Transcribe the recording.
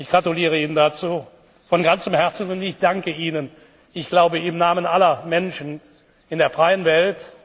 Ich gratuliere Ihnen dazu von ganzem Herzen, und ich danke Ihnen im Namen wie ich glaube aller Menschen in der freien Welt.